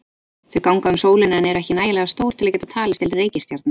Þau ganga um sólina en eru ekki nægilega stór til að geta talist til reikistjarna.